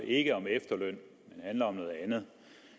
ikke om efterløn men om noget andet